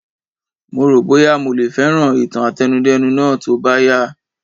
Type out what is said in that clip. Mo ro boya mo le fẹràn ìtàn àtẹnudẹ́nu Náà tó bá yá a